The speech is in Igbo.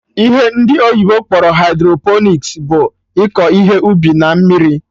Ihe ndị oyibo kpọrọ hydroponics bụ iko ihe ubi na mmiri